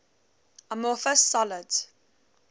amorphous solids